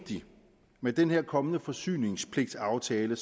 med den her kommende forsyningspligtaftale